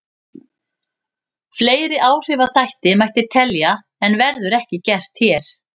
Fleiri áhrifaþætti mætti telja en verður ekki gert hér.